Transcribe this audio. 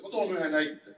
Ma toon ühe näite.